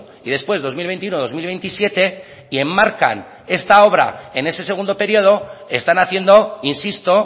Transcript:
y después dos mil veintiuno dos mil veintisiete y enmarcan este obra en ese segundo periodo están haciendo insisto